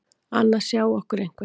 Annars sjái okkur einhver.